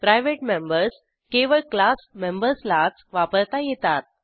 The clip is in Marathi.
प्रायव्हेट मेंबर्स केवळ क्लास मेंबर्सलाच वापरता येतात